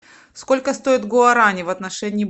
сколько стоят гуарани в отношении